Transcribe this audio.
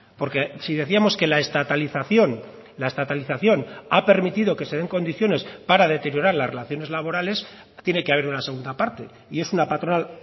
porque si decíamos que la estatalización la estatalización ha permitido que se den condiciones para deteriorar las relaciones laborales tiene que haber una segunda parte y es una patronal